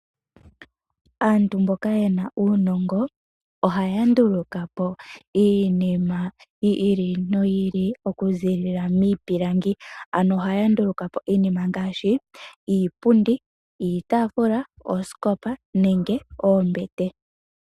Aantu mboka yena uunongo ohaya ndulukapo iinima yiili noyili, okuziilila miipilangi. Ohaya ndulukapo iinima ngaashi iipundi, iitaafula, oosikopa nenge oombete.